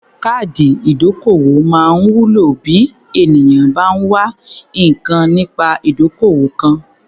Káàdì ìdókòwó máa ń wúlò bí ènìyàn bá ń wá nǹkan nípa ìdókòwò kan.